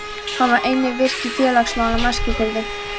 Hún var einnig virk í félagsmálum á Eskifirði.